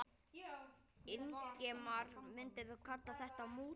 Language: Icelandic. Ingimar: Myndirðu kalla þetta mútur?